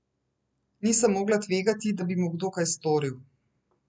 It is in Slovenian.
Nisem mogla tvegati, da bi mu kdo kaj storil.